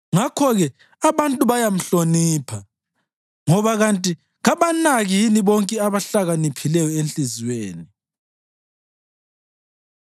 Ngakho-ke abantu bayamhlonipha, ngoba kanti kabanaki yini bonke abahlakaniphileyo enhliziyweni?”